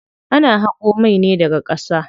Ana haƙo mai ne daga ƙasa.